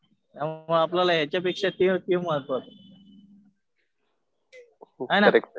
हा आपल्याला ह्याच्यापेक्षा ते महत्वाचं. है ना.